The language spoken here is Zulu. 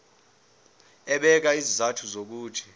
ebeka izizathu zokuthi